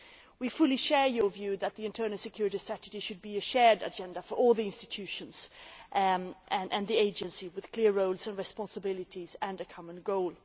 We fully share your view that the Internal Security Strategy should be a shared agenda for all the institutions and the agencies, with clear roles and responsibilities and a common goal.